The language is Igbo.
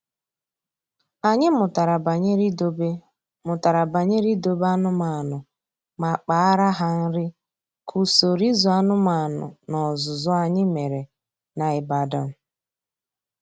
Anyị mụtara banyere idobe mụtara banyere idobe anụmanụ ma kpaara ha nri ka usoro ịzụ anụmanụ n’ọzụzụ anyị mere na Ibadan.